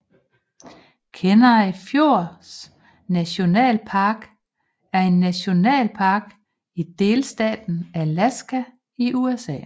Kenai Fjords National Park er en nationalpark i delstaten Alaska i USA